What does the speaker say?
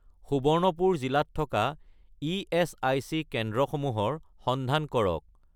সুবৰ্ণপুৰ জিলাত থকা ইএচআইচি কেন্দ্ৰসমূহৰ সন্ধান কৰক